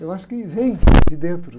Eu acho que vem de dentro.